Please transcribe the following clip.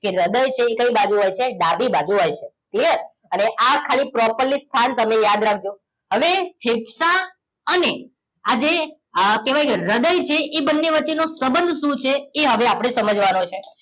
કે હૃદય છે એ કઈ બાજુ હોય છે ડાબી બાજુ હોય છે clear અને આ ખાલી properly સ્થાન તમે યાદ રાખજો. હવે ફેફસા અને આજે કહેવાય કે જે હૃદય છે એ બંને વચ્ચેનો સંબંધ શું છે એ હવે આપણે સમજવાનું છે